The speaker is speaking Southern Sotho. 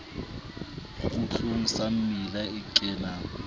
kgutlong sa mmila o kenang